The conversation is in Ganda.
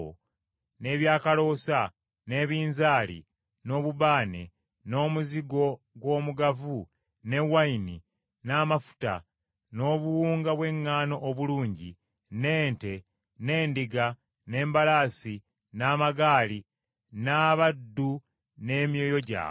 n’ebyakaloosa, n’ebinzaali, n’obubaane, n’omuzigo gw’omugavu, n’envinnyo, n’amafuta, n’obuwunga bw’eŋŋaano obulungi; n’ente, n’endiga; n’embalaasi, n’amagaali; n’abaddu n’emyoyo gyabwe.